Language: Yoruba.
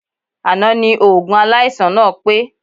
Àná ni oògùn aláìsàn náà pé